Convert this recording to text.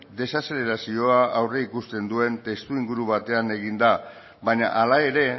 desazelerazioa aurreikusten duen testuinguru batean egin da baina hala ere